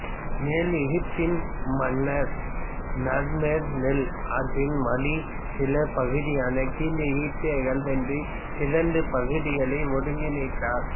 மேல் எகிப்தின் மனன்ர் நார்மேர் நைல் ஆற்றின் வடிநிலப் பகுதியான கீழ் எகிப்தியர்களை வென்று இரண்டு பகுதிகளை ஒருங்கிணைத்தார்